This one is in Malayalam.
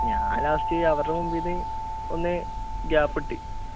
ഞാൻ last അവരുടെ മുമ്പിന്ന് ഒന്ന് gap ഇട്ട്